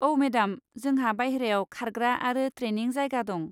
औ, मेडाम जोंहा बायह्रायाव खारग्रा आरो ट्रेनिं जायगा दं।